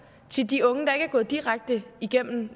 til de unge der ikke er gået direkte igennem